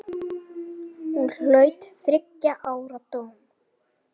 Hún hlaut þriggja ára dóm.